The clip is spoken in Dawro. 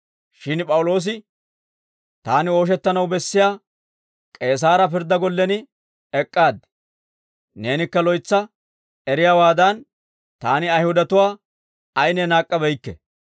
Shin P'awuloosi, «Taani ooshettanaw bessiyaa K'eesaara pirddaa gollen ek'k'aad. Neenikka loytsa eriyaawaadan, taani Ayihudatuwaa ayinne naak'k'abeykke.